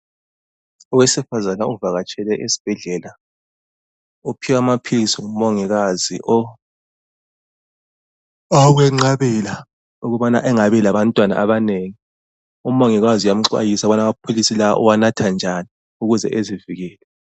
Owesifazana ovakatshele esibhedlela. Uphiwe amaphilisi ngumongikazi, awokwenqabela ukubana angabi labantwana abanengi. Umongikazi uyamxwayisa ukuba amaphilisi la uwanatha njani ,ukuze azivikele.